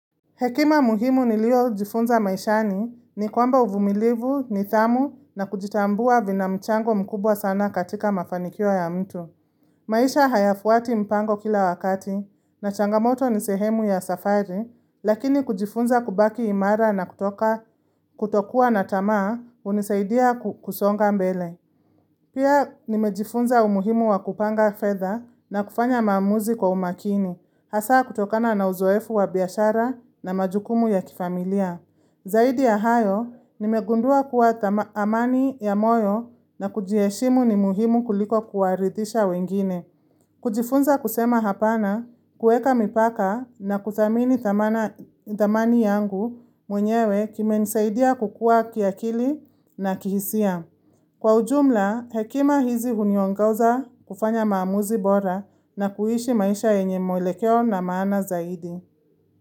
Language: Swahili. Hekima muhimu niliojifunza maishani ni kwamba uvumilivu, nidhamu na kujitambua vina mchango mkubwa sana katika mafanikio ya mtu. Maisha hayafuati mpango kila wakati na changamoto ni sehemu ya safari, lakini kujifunza kubaki imara na kutoka kutokuwa na tamaa hunisaidia kusonga mbele. Pia nimejifunza umuhimu wakupanga fedha na kufanya maamuzi kwa umakini, hasaa kutokana na uzoefu wabiashara na majukumu ya kifamilia. Zaidi ya hayo, nimegundua kuwa thama amani ya moyo na kujiheshimu ni muhimu kuliko kuwaridhisha wengine. Kujifunza kusema hapana, kuweka mipaka na kuthamini thamana thamani yangu mwenyewe kimenisaidia kukua kiakili na kihisia. Kwa ujumla, hekima hizi huniongoza kufanya maamuzi bora na kuhishi maisha yenye mwelekeo na maana zaidi.